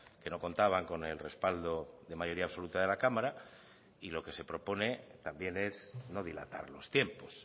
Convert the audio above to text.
que no contaban con el respaldo de mayoría absoluta de la cámara y lo que se propone también es no dilatar los tiempos